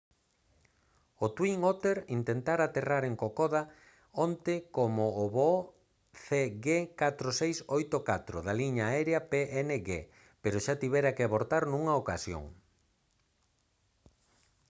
o twin otter intentara aterrar en kokoda onte como o voo cg4684 da liña aérea png pero xa tivera que abortar nunha ocasión